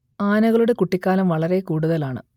ആനകളുടെ കുട്ടിക്കാലം വളരെ കൂടുതലാണ്